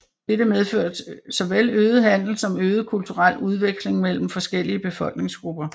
Dette medførte såvel øget handel som øget kulturel udveksling mellem forskellige befolkningsgrupper